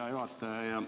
Hea juhataja!